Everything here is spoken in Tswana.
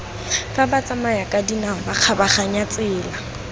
fa batsamayakadinao ba kgabaganyang tsela